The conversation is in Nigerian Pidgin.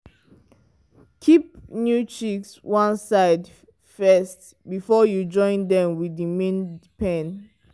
keep new chicks one side first before you join dem with the main pen.